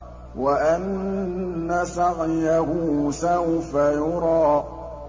وَأَنَّ سَعْيَهُ سَوْفَ يُرَىٰ